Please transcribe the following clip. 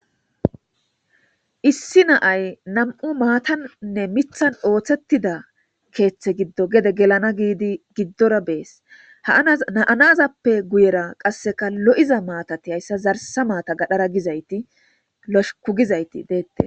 issi naay nam7u maatanne mithan ooththettida keeththe giddo gede gelana giidi giddora bees haa7anazappe guyera qasseka lo7iza maatati hayssa zarsa maata gadhara gizayti losuku gizayti deette